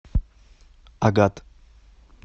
агат